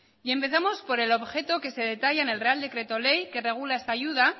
y empezamos por el objeto que se detalla en el real decreto ley que regula esta ayuda